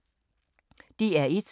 DR1